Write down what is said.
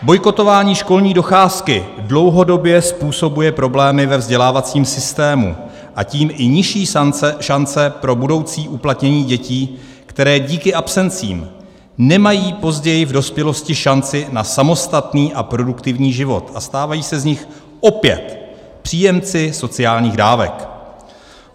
Bojkotování školní docházky dlouhodobě způsobuje problémy ve vzdělávacím systému, a tím i nižší šance pro budoucí uplatnění dětí, které díky absencím nemají později v dospělosti šanci na samostatný a produktivní život a stávají se z nich opět příjemci sociálních dávek.